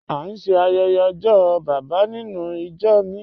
A n ṣẹ ayẹyẹ ojó baba nínú ìjọ́ mi